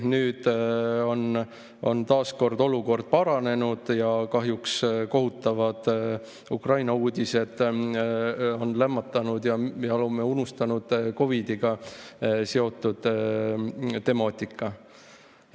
Nüüd on taas kord olukord paranenud, kohutavad Ukraina uudised on lämmatanud COVID‑iga seotud temaatika ja me oleme selle unustanud.